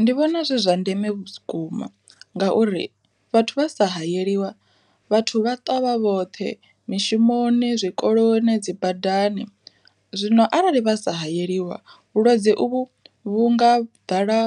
Ndi vhona zwi zwa ndeme vhukuma, ngauri vhathu vha sa hayeliwa vhathu vha twa vha vhoṱhe mishumoni, zwikoloni, dzi badani. Zwino arali vha sa hayeliwe vhulwadze uvhu vhunga ḓala